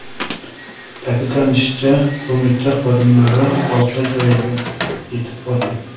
Ta’kidlanishicha, qo‘mita xodimlari voqea joyiga yetib borgan.